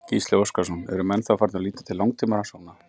Gísli Óskarsson: Eru menn þá farnir að líta til langtímarannsókna?